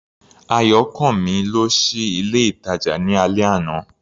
Ayọ̀kànmí lọ sí ilé-ìtàjà ní alẹ́ àná.